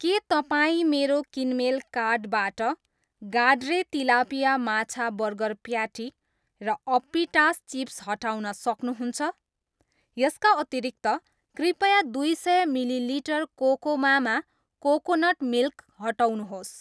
के तपाईँ मेरो किनमेल कार्टबाट गाड्रे तिलापिया माछा बर्गर प्याटी र अप्पिटास चिप्स हटाउन सक्नुहुन्छ? यसका अतिरिक्त, कृपया दुई सय मिली लिटर कोकोमामा कोकोनट मिल्क हटाउनुहोस्।